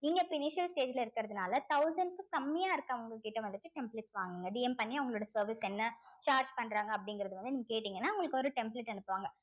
நீங்க இப்ப stage ல இருக்கிறதுனால thousands க்கு கம்மியா இருக்குறவங்ககிட்ட வந்துட்டு templates வாங்குங்க DM பண்ணி அவங்களோட service க்கு என்ன charge பண்றாங்க அப்படிங்கறது வந்து நீங்க கேட்டீங்கன்னா உங்களுக்கு ஒரு template அனுப்புவாங்க